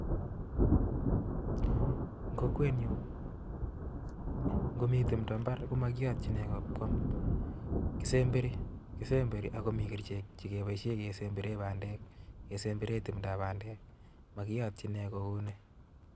En kokwenyun ngo mitimdo imbaar komokiyootyin nekoo kwam, kisemberii ak komii kerichek chekeboishien kesemberen bandek kesembere timdoo bandek mokiyootyiin nekoo kounii